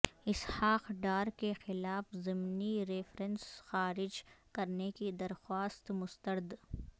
اسحاق ڈار کیخلاف ضمنی ریفرنس خارج کرنے کی درخواست مسترد